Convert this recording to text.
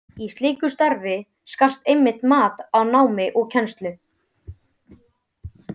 Í slíku starfi skarast einmitt mat á námi og kennslu.